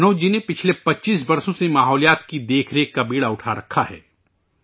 منوج جی نے پچھلے 25 برسو ں سے ماحولیات کی دیکھ ریکھ کا بیڑا اٹھا رکھا ہے